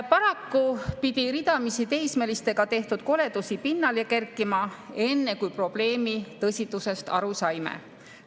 Paraku pidi ridamisi teismelistega tehtud koledusi pinnale kerkima, enne kui probleemi tõsidusest aru saime.